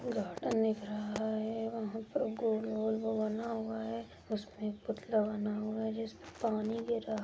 Garden दिख रहा है वहाँ पर गोल गोल को बना हुआ है उसमे एक पुतला बना हुआ है जिसमे पानी गिर रहा है।